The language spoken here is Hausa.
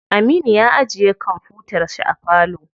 Aminu ya ajiye kwamfutar shi a falo.